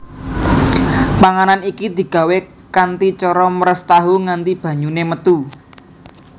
Panganan iki digawé kanthi cara meres tahu nganti banyune metu